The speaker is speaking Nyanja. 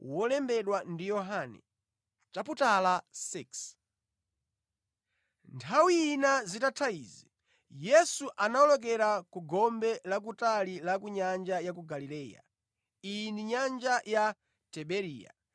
Nthawi ina zitatha izi, Yesu anawolokera ku gombe la kutali la nyanja ya Galileya (iyi ndi nyanja ya Tiberiya),